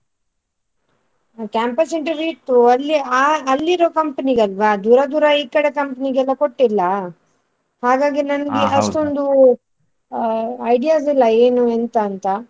ಅ campus interview ಇತ್ತು ಅಲ್ಲಿ ಆ ಅಲ್ಲಿರೊ company ಗ್ ಅಲ್ವಾ ದೂರ ದೂರ ಈ ಕಡೆ company ಗ್ ಎಲ್ಲಾ ಕೊಟ್ಟಿಲ್ಲ ಹಾಗಾಗಿ ಅಷ್ಟೊಂದು ಅ ideas ಇಲ್ಲ ಏನು ಎಂತ ಅಂತ.